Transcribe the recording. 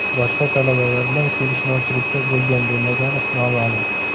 Boshqa talabalar bilan kelishmovchilikda bo‘lgan-bo‘lmagani noma’lum.